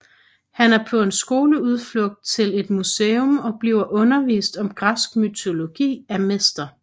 Han er på en skoleudflugt til et museum og bliver undervist om græsk mytologi af Mr